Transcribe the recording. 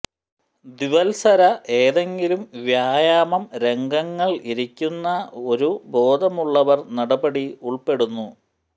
ദ്വിവൽസര ഏതെങ്കിലും വ്യായാമം രംഗങ്ങൾ ഇരിക്കുന്ന ഒരു ബോധമുള്ളവർ നടപടി ഉൾപ്പെടുന്നു